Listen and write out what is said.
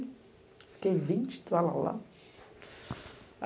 Fiquei vinte e tal.